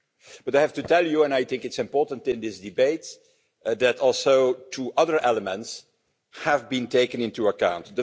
But I have to tell you, and I think it's important in these debates, that also two other elements have been taken into account.